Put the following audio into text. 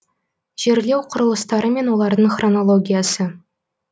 жерлеу құрылыстары мен олардың хронологиясы